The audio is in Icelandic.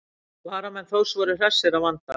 Varamenn Þórs voru hressir að vanda.